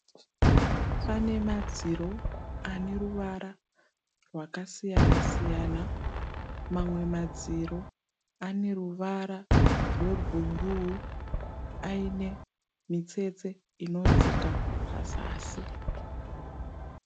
Pane madziro ane ruvara rwakasiyana siyana. Mamwe madziro ane ruvara rwe bhuruu aine mitsetse inodzika pazasi.